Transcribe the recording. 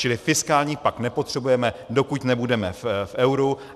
Čili fiskální pakt nepotřebujeme, dokud nebudeme v euru.